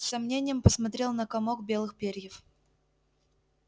с сомнением посмотрел на комок белых перьев